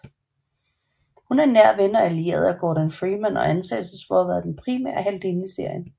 Hun er en nær ven og allieret af Gordon Freeman og anses for at være den primære heltinde i serien